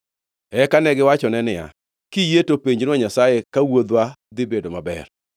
Eka negiwachone niya, “Kiyie to penjnwa Nyasaye ka wuodhwa dhi bedo maber.”